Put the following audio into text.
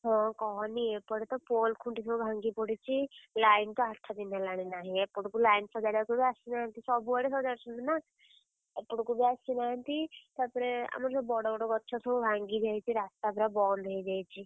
ହଁ କହନି ଏପଟେ ତ pole ଖୁଣ୍ଟି ସବୁ ଭାଙ୍ଗିକି ପଡିଛି, line ତ ଆଠ ଦିନ ହେଲାଣି ନାହିଁ। ଏପଟକୁ line ସଜାଡିବାକୁ ବି ଆସୁନାହାନ୍ତି ସବୁ ଆଡେ ସଜାଡୁଛନ୍ତି ନା। ଏପଟକୁ ବି ଆସିନାହାନ୍ତି ତାପରେ ଆମର ଯୋଉ ବଡ ବଡ ଗଛ ସବୁ ଭାଙ୍ଗି ଯାଇଛି। ରାସ୍ତା ପୁରା ବନ୍ଦ ହେଇଯାଇଛି।